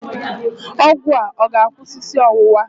Ọgwụ a ọ ga-akwụsị isi ọwụwa?